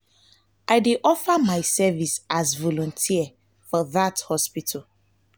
i dey offer my service as volunteer for dat hospital.